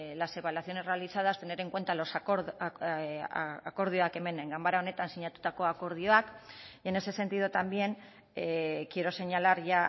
las evaluaciones realizadas tener en cuenta akordioak hemen ganbara honetan sinatutako akordioak y en ese sentido también quiero señalar ya